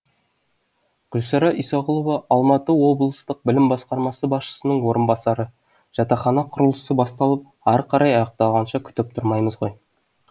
гүлсара исағұлова алматы облыстық білім басқармасы басшысының орынбасары жатақхана құрылысы басталып ары қарай аяқталғанша күтіп тұрмаймыз ғой